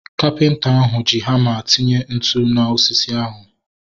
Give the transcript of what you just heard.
Kapịnta ahu ji hama tinye ntụ na osisi ahu